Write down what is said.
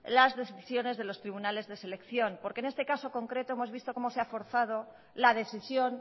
las decisiones de los tribunales de selección porque en este caso concreto hemos visto como se ha forzado la decisión